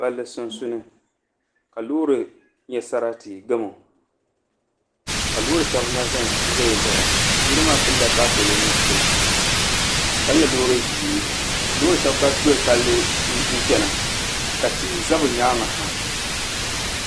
Palli sunsuuni ka loori nyɛ gamo ka loori shɛli na ʒɛnʒɛ n baɣa o yino maa pilila taapooli nuɣso ka nyɛ loori ʒiɛ loori shab gba doli palli n chɛna ka tihi ʒɛ bi nyaangi ha